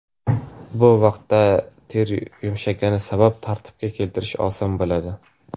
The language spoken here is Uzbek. Bu vaqtda teri yumshagani sabab tartibga keltirish oson bo‘ladi.